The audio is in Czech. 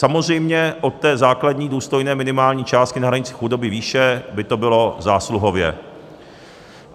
Samozřejmě od té základní důstojné minimální částky na hranici chudoby výše by to bylo zásluhově.